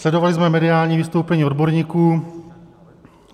Sledovali jsme mediální vystoupení odborníků.